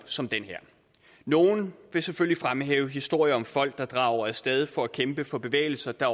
som den her nogle vil selvfølgelig fremhæve historier om folk der drager af sted for at kæmpe for bevægelser der